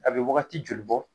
A bɛ wagati joli bɔ?